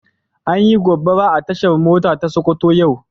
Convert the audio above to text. An Yi gobara a tashar mota ta sokoto yau.